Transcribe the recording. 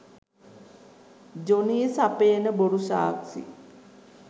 Johnny සපයන බොරු සාක්ෂි